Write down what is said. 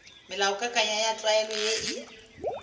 melaokakanywa ya tlwaelo ye e